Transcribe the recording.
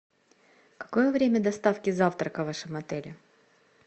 какое время доставки завтрака в вашем отеле